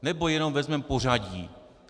Nebo jenom vezmeme pořadí?